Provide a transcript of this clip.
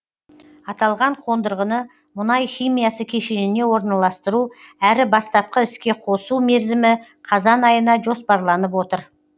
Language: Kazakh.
аталған қондырғыны мұнай химиясы кешеніне орналастыру әрі бастапқы іске қосу мерзімі қазан айына жоспарланып отыр